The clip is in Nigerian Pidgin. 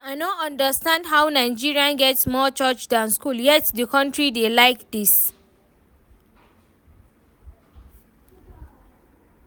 I no understand how Nigeria get more church dan school yet the country dey like dis